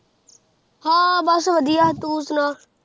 ਹਾਂ ਬਸ ਵਧੀਆ, ਤੂੰ ਸੁਣਾ